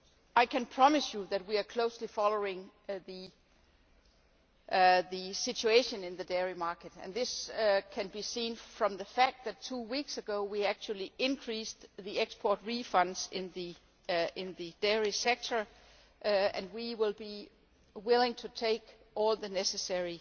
I can promise you that we are closely following the situation in the dairy market. This can be seen from the fact that two weeks ago, we actually increased the export refunds in the dairy sector, and we will be willing to take all the necessary